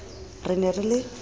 re le ne le le